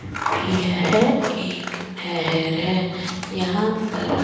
यह एक नहर है यहां पर --